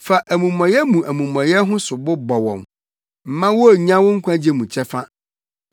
Fa amumɔyɛ mu amumɔyɛ ho sobo bɔ wɔn; mma wonnya wo nkwagye mu kyɛfa.